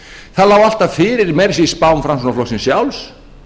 það lá alltaf fyrir meira að segja í spám framsóknarflokksins sjálfs